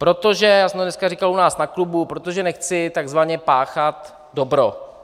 Protože - já jsem to dneska říkal u nás na klubu - protože nechci takzvaně páchat dobro.